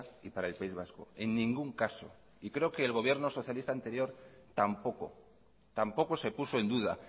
y para el país vasco en ningún caso y creo que el gobierno socialista anterior tampoco tampoco se puso en duda